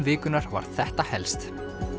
vikunnar var þetta helst